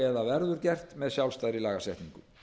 eða verður gert með sjálfstæðri lagasetningu